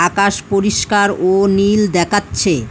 আকাশ পরিষ্কার ও নীল দেখাচ্ছে।